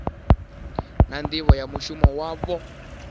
na nḓivho ya mushumo wavho